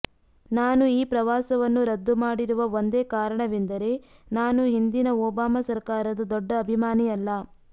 ನಾನು ಈ ಪ್ರವಾಸವನ್ನು ರದ್ದು ಮಾಡಿರುವ ಒಂದೇ ಕಾರಣವೆಂದರೆ ನಾನು ಹಿಂದಿನ ಒಬಾಮ ಸರಕಾರದ ದೊಡ್ಡ ಅಭಿಮಾನಿಯಲ್ಲ